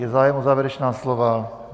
Je zájem o závěrečná slova?